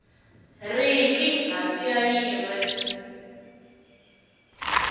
riki hansi ka yin we